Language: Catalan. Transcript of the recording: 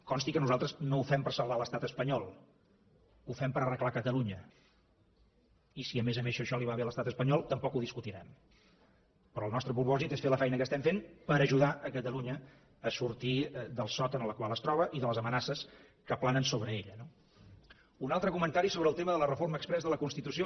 consti que nosaltres no ho fem per salvar l’estat espanyol ho fem per arreglar catalunya i si a més a més això li va bé a l’estat espanyol tampoc ho discutirem però el nostre propòsit és fer la feina que estem fent per ajudar catalunya a sortir del sot en el qual es troba i de les amenaces que planen sobre ella no un altre comentari sobre el tema de la reforma exprés de la constitució